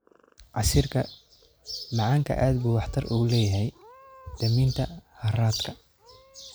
Casiirka macaanku aad buu waxtar ugu leeyahay daminta harraadka.